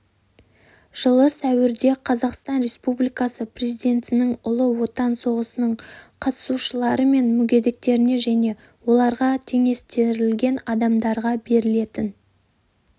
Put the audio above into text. жылы сәуірде қазақстан республикасы президентінің ұлы отан соғысының қатысушылары мен мүгедектеріне және оларға теңестірілген адамдарға берілетін